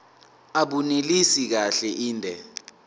abunelisi kahle inde